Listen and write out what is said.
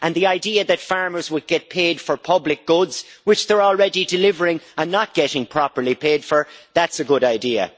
And the idea that farmers would get paid for public goods, which they are already delivering and not getting properly paid for, that's a good idea.